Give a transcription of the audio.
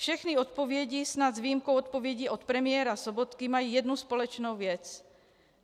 Všechny odpovědi, snad s výjimkou odpovědi od premiéra Sobotky, mají jednu společnou věc.